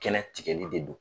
Kɛlɛ tigɛli de do.